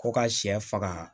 Ko ka sɛ faga